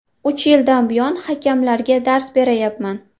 Uch yildan buyon hakamlarga dars berayapman.